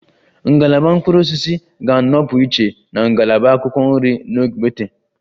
Ngalaba mkpụrụ osisi ga-anọpụ iche na ngalaba akwụkwọ nri na ogbete